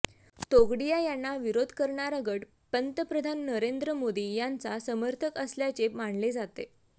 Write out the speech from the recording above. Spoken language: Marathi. तोगडिया यांना विरोध करणारा गट पंतप्रधान नरेंद्र मोदी यांचा समर्थक असल्याचे मानले जाते